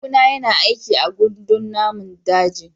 Kawuna yana aiki a gandun namun daji.